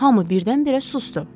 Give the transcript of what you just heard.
Hamı birdən-birə susdu.